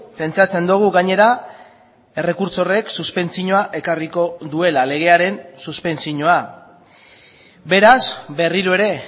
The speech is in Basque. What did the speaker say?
pentsatzen dugu gainera errekurtso horrek suspentsioa ekarriko duela legearen suspentsioa beraz berriro ere